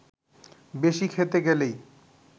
বেশি খেতে গেলেই